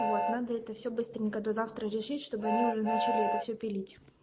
вот надо это все быстренько до завтра решить чтобы они уже начали это все пилить